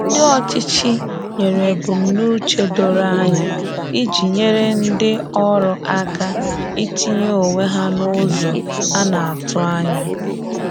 Ndi ọchịchị nyere ebumnuche doro anya iji nyere ndị ọrụ aka itinye onwe ha n’ụzọ a na-atụ anya.